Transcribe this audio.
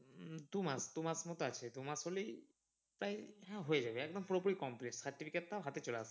দু মাস দু মাস মতন আছে দু মাস হলেই প্রায় হ্যাঁ হয়ে যাবে একদম পুরোপুরি complete certificate টাও হাতে চলে আসবে।